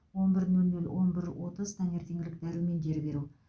он бір нөл нөл он бір отыз таңертеңгілік дәрумендер беру